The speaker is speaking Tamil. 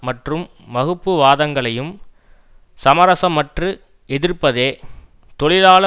மற்றும் வகுப்புவாதங்களையும் சமரசமற்று எதிர்ப்பதே தொழிலாள